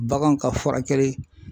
Baganw ka furakɛli.